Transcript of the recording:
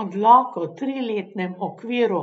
Odlok o triletnem okviru